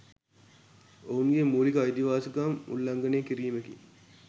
ඔවුන් ගේ මූලික අයිතිවාසිකම් උල්ලංඝනය කිරීමකි.